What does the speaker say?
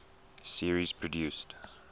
series produced